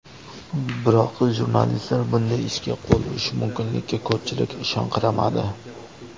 Biroq jurnalistlar bunday ishga qo‘l urishi mumkinligiga ko‘pchilik ishonqiramadi.